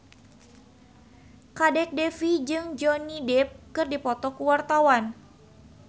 Kadek Devi jeung Johnny Depp keur dipoto ku wartawan